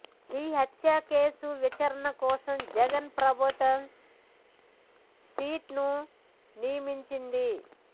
ఈ హత్య కేసు విచారణ కోసం జగన్ ప్రభుత్వం సిట్ ను నియమించింది